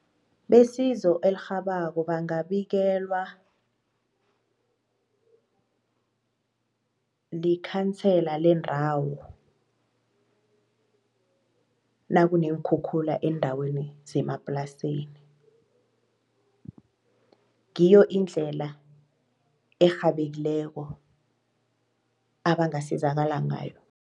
Besizo elirhabako bangabikelwa likhansela lendawo nakuneenkhukhula eendaweni zemaplasini ngiyo indlela erhabekileko abangasizakala ngayo.